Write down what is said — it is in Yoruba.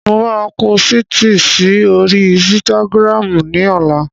Mo máa pósìtì si oríi ísítágírámù ní ọlá